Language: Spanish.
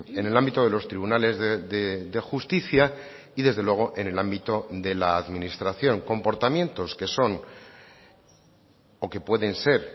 en el ámbito de los tribunales de justicia y desde luego en el ámbito de la administración comportamientos que son o que pueden ser